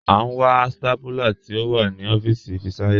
À n wà stápúlà tí o wà ní ọfiisi Fisayo.